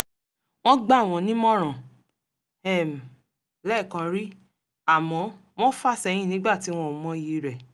wọ́n gbà wọ́n nímọ̀ràn um lẹ́ẹ̀kan rí àmọ́ wọ́n fà sẹ́yìn nígbà tí wọn ò mọyì rẹ̀